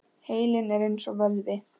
Heilinn er eins og vöðvi.